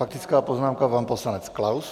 Faktická poznámka, pan poslanec Klaus.